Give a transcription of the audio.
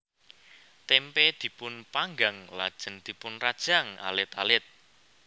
Témpé dipun panggang lajeng dipunrajang alit alit